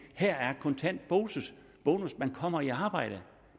her er kontant bonus man kommer i arbejde